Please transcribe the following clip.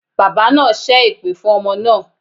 Bàbá naa sẹ́ èpè fún ọmọ naa